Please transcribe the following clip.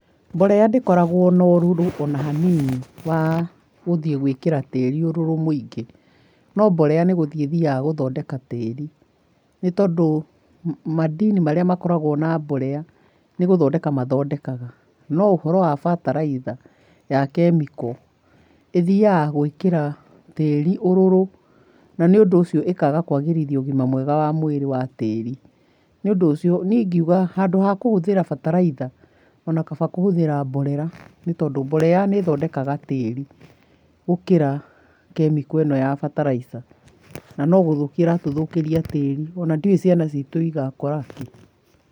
Mborera ndĩkoragwo na ũrũrũ ona hanini, wa gũthiĩ gwĩkĩra tĩri ũrũrũ mũingĩ. No mborera nĩgũthiĩ ĩthiaga gũthondeka tĩri, nĩtondũ madini marĩa makoragwo na mborera nĩgũthondeka mathondekaga, no ũhoro wa bataraitha ya kĩmĩko ĩthiaga gwĩkĩra tĩri ũrũrũ, na nĩũndũ ũcio ĩkaga kwagĩria ũgima mwega wa mwĩrĩ wa tĩrĩ. Nĩũndũ ũcio, niĩ ingiuga handũ ha kũhũthĩra bataraitha ona kaba kũhũthĩra borera nĩtondũ borera nĩ ĩthondekaga tĩrĩ gũkĩra kĩmĩko ĩno ya bataraitha na no gũthũkia ĩratũthũkĩria tĩri ona ndiũi ciana citũ igakora kĩ.